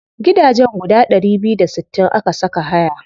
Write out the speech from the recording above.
Gidajen guda ɗari biyu da sittin aka saka haya.